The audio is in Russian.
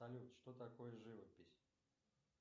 салют что такое живопись